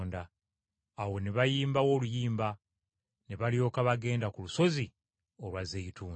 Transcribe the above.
Awo ne bayimbayo oluyimba, ne bafuluma ne bagenda ku lusozi olwa Zeyituuni.